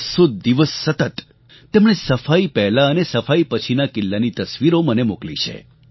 બસ્સો દિવસ સતત તેમણે સફાઈ પહેલાં અને સફાઈ પછીના કિલ્લાની તસવીરો મને મોકલી છે